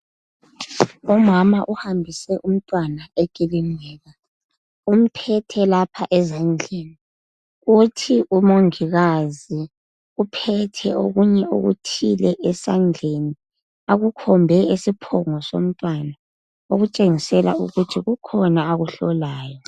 Umama uhambise umntwana ekilinika. Umphethe lapha ezandlni .Uthi umongikazi uphethe okunye okuthile esandleni akukhombe esiphongo somntwana okutshengisela ukuthi kukhona akuhlolayo.